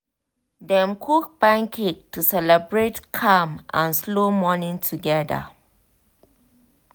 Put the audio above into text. dem cook pancake to celebrate calm and slow morning together.